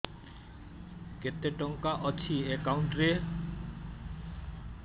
କେତେ ଟଙ୍କା ଅଛି ଏକାଉଣ୍ଟ୍ ରେ